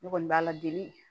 Ne kɔni b'a ladege